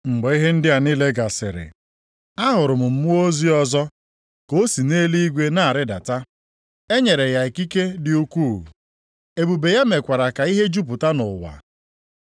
Mgbe ihe ndị a niile gasịrị, ahụrụ m mmụọ ozi ọzọ ka o si nʼeluigwe na-arịdata. E nyere ya ikike dị ukwuu, ebube ya mekwara ka ihe jupụta nʼụwa.